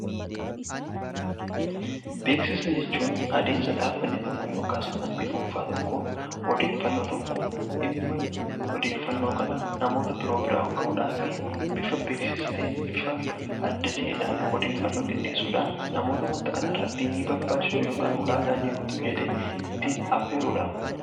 Beeksisa jechuun adeemsa dhaabbatni tokko yookiin waajirri dhuunfaa tokko dhimma odeeffannoo kana namoota biraan gahuudhaaf bifa beeksisa ta'een bifa adda ta'een odeeffannoo qindeessuudhaan namoota wanta kanarrati ni barbaachisu yookaan ulaagaa ni guutu jedhe affeerudha